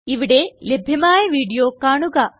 ഇവിടെ ലഭ്യമായ വീഡിയോ കാണുക